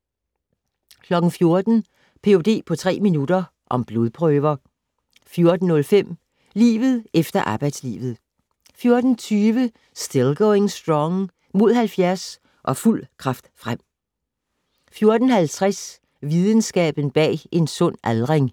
14:00: Ph.d. på tre minutter - om blodprøver 14:05: Livet efter arbejdslivet 14:20: Still Going Strong - Mod 70 - og fuld kraft frem 14:50: Videnskaben bag en sund aldring